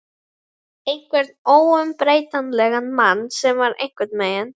Konan spyrnti í felgulykilinn en róin haggaðist ekki.